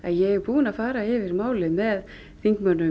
ég er búin að fara yfir málið með þingmönnum